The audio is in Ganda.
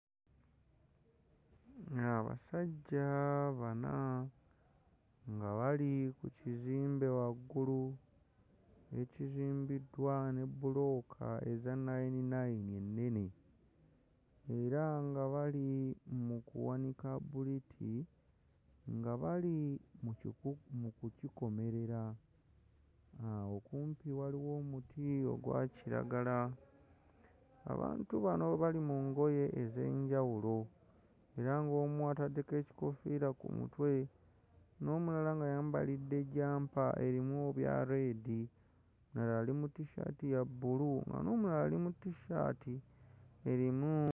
Abasajja bana nga bali ku kizimbe waggulu ekizimbiddwa ne bbulooka eza nayininayini ennene era nga bali mu kuwanika bbuliti nga bali mu kyuku... mu kukikomerera, awo okumpi waliwo omuti ogwa kiragala. Abantu bano bali mu ngoye ez'enjawulo era ng'omu ataddeko ekikoofiira ku mutwe n'omulala ng'ayambalidde jjampa erimu ebya leedi omulala ali mu tissaati ya bbulu nga n'omulala ali mu tissaati erimu....